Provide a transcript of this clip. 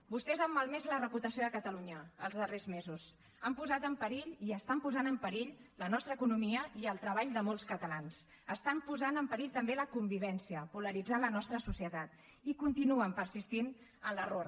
vostès han malmès la reputació de catalunya els darrers mesos han posat en perill i estan posant en perill la nostra economia i el treball de molts catalans estan posant en perill també la convivència polaritzant la nostra societat i continuen persistint en l’error